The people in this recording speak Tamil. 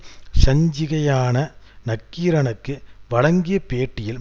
சஞ்சிகையான நக்கீரனுக்கு வழங்கிய பேட்டியில்